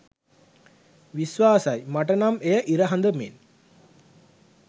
විශ්වාසයි මට නම් එය ඉර හඳ මෙන්.